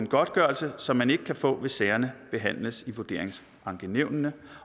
godtgørelse som man ikke kan få hvis sagerne behandles i vurderingsankenævnene